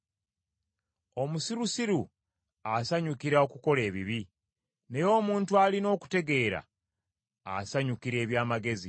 Omusirusiru asanyukira okukola ebibi, naye omuntu alina okutegeera asanyukira eby’amagezi.